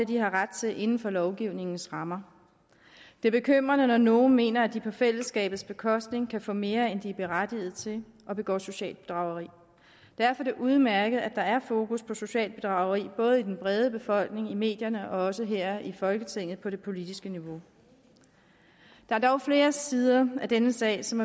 de har ret til inden for lovgivningens rammer det er bekymrende når nogle mener at de på fællesskabets bekostning kan få mere end de er berettiget til og begår socialt bedrageri og derfor er det udmærket at der er fokus på socialt bedrageri både i den brede befolkning i medierne og også her i folketinget på det politiske niveau der er dog flere sider af denne sag som